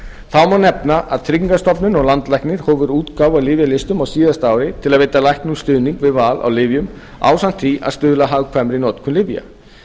þá má nefna að tryggingastofnun og landlæknir hófu útgáfu á lyfjalistum á síðasta ári til að veita læknum stuðning við val á lyfjum ásamt því að stuðla að hagkvæmri notkun lyfja